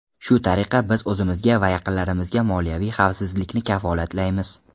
Shu tariqa, biz o‘zimizga va yaqinlarimizga moliyaviy xavfsizlikni kafolatlaymiz.